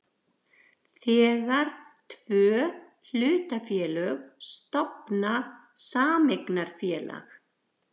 þegar tvö hlutafélög stofna sameignarfélag.